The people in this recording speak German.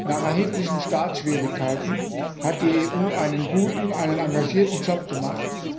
Nach erheblichen Startschwierigkeiten hat die EU einen guten, einen engagierten Job gemacht.